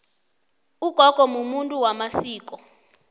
ugogo mumuntu wamasiko